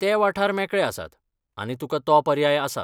ते वाठार मेकळे आसात, आनी तुकां तो पर्याय आसा.